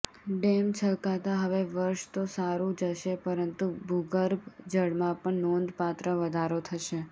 dam છલકાતા હવે વર્ષ તો સારુ જશે પરંતુ ભૂગર્ભ જળમાં પણ નોંધપાત્ર વધારો થશે